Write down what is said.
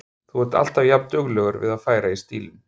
Þú ert alltaf jafnduglegur við að færa í stílinn.